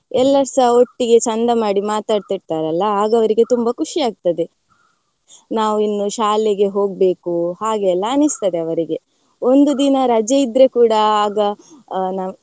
ಎಲ್ಲರ್ಸ ಒಟ್ಟಿಗೆ ಚಂದ ಮಾಡಿ ಮಾತಡ್ತಿರ್ತರಲ್ಲ ಆಗ ಅವರಿಗೆ ತುಂಬಾ ಖುಷಿ ಆಗ್ತದೆ ನಾವ್ ಇನ್ನೂ ಶಾಲೆಗೆ ಹೋಗ್ಬೇಕು ಹಾಗೆಲ್ಲಾ ಅನ್ಸ್ತದೆ ಅವರಿಗೆ ಒಂದು ದಿನ ರಜೆ ಇದ್ರೆ ಕೂಡಾ ಆಗ ನಾವ್.